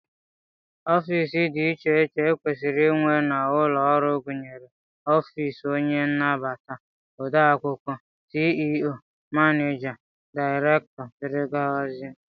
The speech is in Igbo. Ofiisi dị iche iche e kwesịrị inwe n'ụlọọrụ gụnyere ofiisi onye nnabata, odeakwụkwọ, CEO, manịja, daịrektọ, dgz